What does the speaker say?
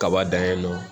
Kaba dan ye nɔ